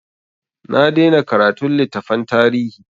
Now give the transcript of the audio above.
Na daina karatun littafan tarihi.